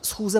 Schůze